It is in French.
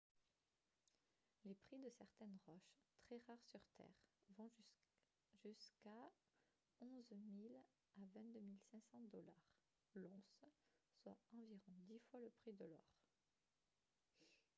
les prix de certaines roches très rares sur terre vont jusqu’à de 11 000 à 22 500 $ l’once soit environ dix fois le prix de l’or